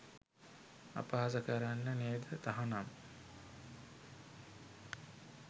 අපහාස කරන්න නේද තහනම්?